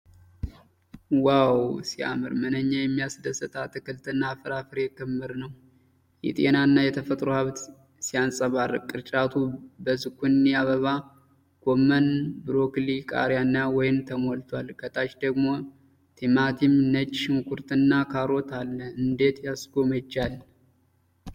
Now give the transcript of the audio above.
ዋው ሲያምር! ምንኛ የሚያስደስት አትክልትና ፍራፍሬ ክምር ነው። የጤናና የተፈጥሮ ሀብት ሲያንጸባርቅ!!። ቅርጫቱ በዙኪኒ፣ አበባ ጎመን፣ ብሮኮሊ፣ ቃሪያና ወይን ተሞልቷል። ከታች ደግሞ ቲማቲም፣ ነጭ ሽንኩርትና ካሮት አለ። እንደት ያስጎመጃል።